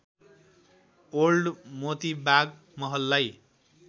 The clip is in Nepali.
ओल्‍ड मोतीबाग महललाई